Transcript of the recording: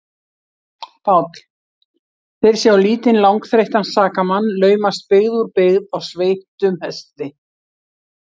PÁLL: Þeir sjá lítinn, langþreyttan sakamann laumast byggð úr byggð á sveittum hesti.